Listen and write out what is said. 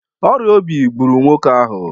Ọrịa obi gburu nwoke ahụ